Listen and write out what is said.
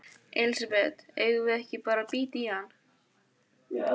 Elísabet: Eigum við ekki bara að bíta í hann?